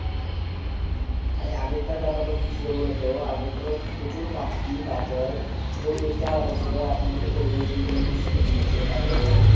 আরে আগেকার ব্যাপার তা কি ছিল বোলো তো আগে ধরো প্রচুর পাখি তারপর পরিবেশ তা আলাদা ছিল এখুন ধরো পরিবেশ দিন দিন দূষিত হুন যেচে তারপরে